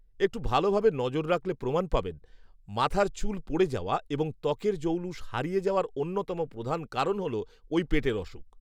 একটু ভালো ভাবে নজর রাখলে প্রমাণ পাবেন, মাথার চুল পড়ে যাওয়া এবং ত্বকের জৌলুস হারিয়ে যাওয়ার অন্যতম প্রধান কারণ হল ওই পেটের অসুখ